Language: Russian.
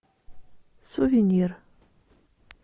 сувенир